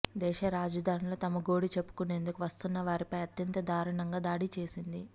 దేశ రాజధానిలో తమ గోడు చెప్పుకునేందుకు వస్తున్న వారిపై అత్యంత దారుణంగా దాడి చేసింది